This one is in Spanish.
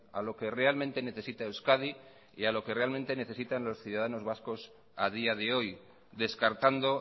a lo que realmente necesita euskadi y a lo que realmente necesitan los ciudadanos vascos a día de hoy descartando